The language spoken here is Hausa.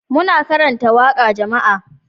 Muna karanta waƙar jama'a